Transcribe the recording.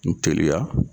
N teliya